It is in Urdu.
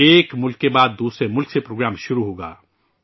ایک ملک کے بعد دوسرے ملک سے پروگرام شروع ہوگا